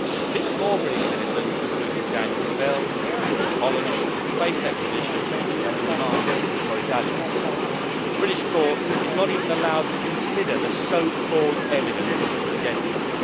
Six more British citizens, including Daniel Bell and George Hollands, face extradition and remand in Korydallos. The British court is not even allowed to consider the so called evidence against them.